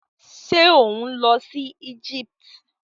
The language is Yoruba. Ṣé ò ń lọ si Egypt?